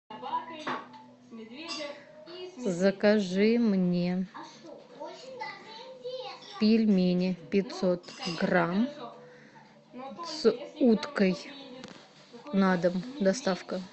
закажи мне пельмени пятьсот грамм с уткой на дом доставка